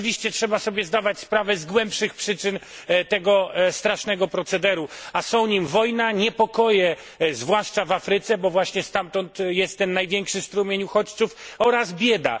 Trzeba sobie jednak zdawać sprawę z głębszych przyczyn tego strasznego procederu, a są nim wojna, niepokoje zwłaszcza w Afryce, bo właśnie stamtąd jest ten największy strumień uchodźców oraz bieda.